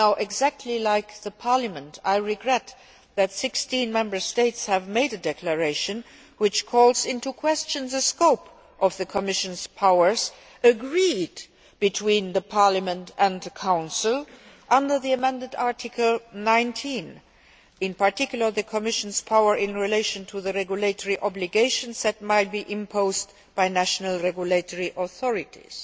Exactly like Parliament, I regret that 16 Member Sates have made a declaration which calls into question the scope of the Commission's powers, agreed between the Parliament and the Council under the amended Article 19, in particular, the Commission's power in relation to the regulatory obligations that might be imposed by national regulatory authorities